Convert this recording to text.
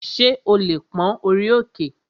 Ṣé o lè pón orí òkè?